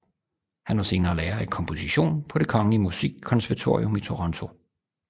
Han var senere lærer i komposition på Det Kongelige Musikkonservatorium i Toronto